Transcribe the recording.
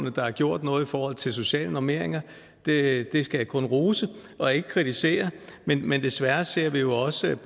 at der er gjort noget i forhold til sociale normeringer det det skal jeg kun rose og ikke kritisere men desværre ser vi jo også